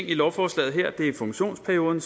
i lovforslaget og det er funktionsperioden